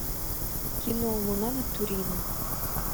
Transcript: кино луна над турином